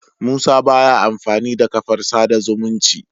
Musa baya amfani da kafar sada zumunci